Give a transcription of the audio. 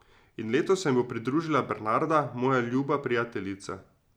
In letos se mi bo pridružila Bernarda, moja ljuba prijateljica ...